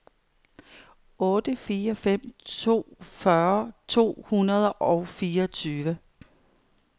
otte fire fem to fyrre to hundrede og fireogtyve